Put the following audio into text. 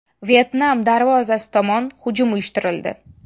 Vyetnam darvozasi tomon hujum uyushtirildi.